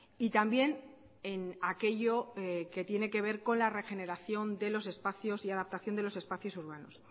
y también en aquello que tiene que ver con la regeneración de los espacios y adaptación de los espacios urbanos